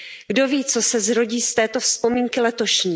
Kdo ví, co se zrodí z té vzpomínky letošní.